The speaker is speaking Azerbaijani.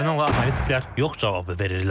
Ukraynalı analitiklər yox cavabı verirlər.